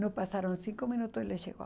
Não passaram cinco minutos e ele chegou.